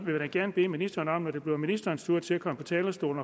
da gerne bede ministeren når det bliver ministerens tur til at komme på talerstolen